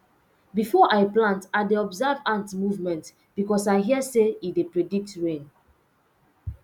before i plant i dey observe ant movement because i hear say e dey predict rain